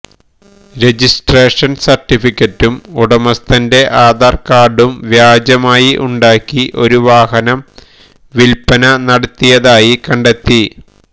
registration സർട്ടിഫിക്കറ്റും ഉടമസ്ഥന്റെ ആധാർ കാർഡും വ്യാജമായി ഉണ്ടാക്കി ഒരു വാഹനം വിൽപ്പന നടത്തിയതായി കണ്ടെത്തി